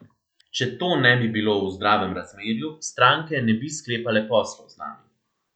Če to ne bi bilo v zdravem razmerju, stranke ne bi sklepale poslov z nami.